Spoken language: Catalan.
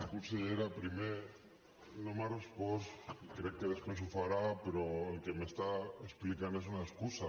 consellera primer no m’ha respost i crec que després ho farà però el que m’està explicant és una excusa